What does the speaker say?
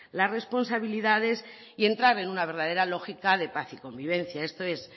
las responsabilidades y entrar en una verdadera lógica de paz y convivencia esto es